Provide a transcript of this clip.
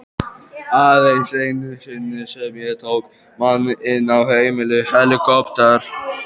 Aðeins einu sinni sem ég tók mann inn á heimil.